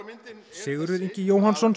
Sigurður Ingi Jóhannsson